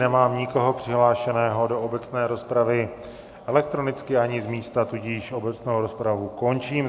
Nemám nikoho přihlášeného do obecné rozpravy elektronicky ani z místa, tudíž obecnou rozpravu končím.